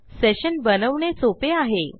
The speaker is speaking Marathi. सेशन बनवणे सोपे आहे